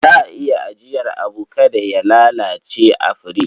Za a iya ajiyar abu kada ya lalace a firich.